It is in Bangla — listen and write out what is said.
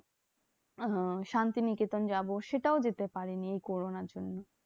আহ হ্যাঁ শান্তিনিকেতন যাবো সেটাও যেতে পারিনি এই corona র জন্যে।